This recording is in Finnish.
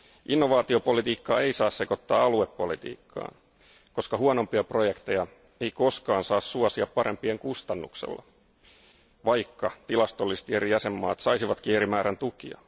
Innovaatiopolitiikkaa ei saa sekoittaa aluepolitiikkaan, koska huonompia projekteja ei koskaan saa suosia parempien kustannuksella, vaikka tilastollisesti eri jäsenvaltiot saisivatkin eri määrän tukia.